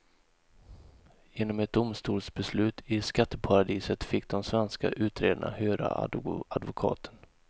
Genom ett domstolsbeslut i skatteparadiset fick de svenska utredarna höra advokaten.